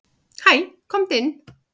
"""Hæ, komdu inn."""